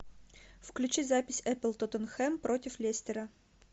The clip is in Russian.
включи запись эпл тоттенхэм против лестера